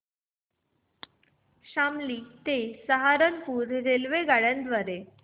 शामली ते सहारनपुर रेल्वेगाड्यां द्वारे